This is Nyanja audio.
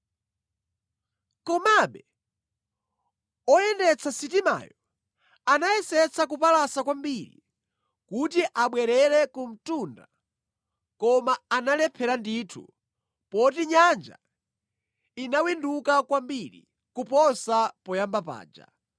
Komabe oyendetsa sitimayo anayesetsa kupalasa kwambiri kuti abwerere ku mtunda koma analephera ndithu poti nyanja inawinduka kwambiri kuposa poyamba paja